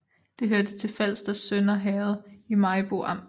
Det hørte til Falsters Sønder Herred i Maribo Amt